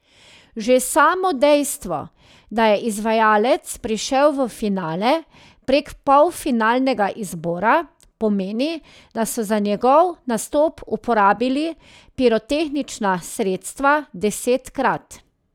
Že samo dejstvo, da je izvajalec prišel v finale prek polfinalnega izbora, pomeni, da so za njegov nastop uporabili pirotehnična sredstva desetkrat.